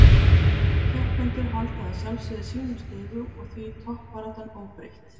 Keppendur halda að sjálfsögðu sínum stigum og því toppbaráttan óbreytt.